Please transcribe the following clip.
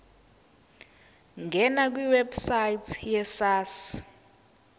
ngena kwiwebsite yesars